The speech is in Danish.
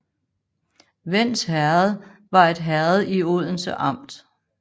Vends Herred var et herred i Odense Amt